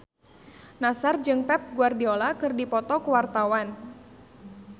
Nassar jeung Pep Guardiola keur dipoto ku wartawan